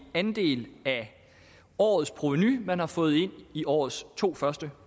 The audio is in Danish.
andel af årets provenu man har fået ind i årets to første